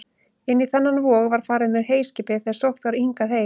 Inn í þennan vog var farið með heyskipið þegar sótt var hingað hey.